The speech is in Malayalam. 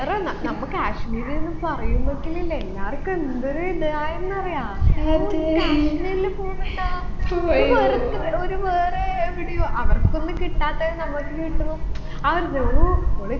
എത്ര ന നമ്മ കാശ്മീരിന്ന് പറയുമ്പക്കന്നില്ലെ എല്ലാർക്കും എന്തൊരു ഇതായെന്ന് അറിയാ ഓ നിങ്ങൾ കാശ്മീരില് പൊന്നുണ്ടോ ഒരു വേറത് ഒരു വേറെ എവിടെയോ അവർക്കൊന്നും കിട്ടാത്തത് നമ്മക്ക് കിട്ടുമ്പൊ ആ ഒരിത് ഓ ഓൾ